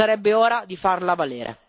Sarebbe ora di farla valere.